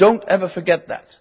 Do not ever forget that.